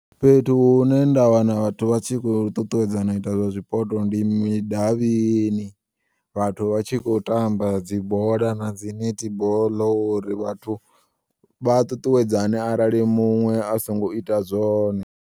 Fhethu hune nda wana vhathu vha tshi khou ṱuṱuwedzana u ita zwa zwipoto ndi midavhini, vhathu vha tshi khou tamba dzi bola na dzi nethiboḽo uri vhathu vhaṱuṱuwedzane arali muṅwe asongo ita zwone.